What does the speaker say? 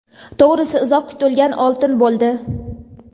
To‘g‘risi uzoq kutilgan oltin bo‘ldi.